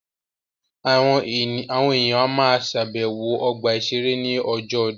Àwọn èèyàn á ma ṣàbẹ̀wọ̀ ọgbà-ìṣeré ní ọjọ́ ọdún